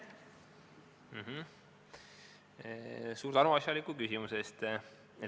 Suur tänu asjaliku küsimuse eest!